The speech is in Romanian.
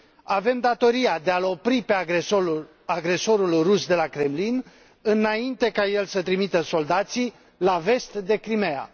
Avem datoria de a l opri pe agresorul rus de la Kremlin, înainte ca el să trimită soldații la vest de Crimeea.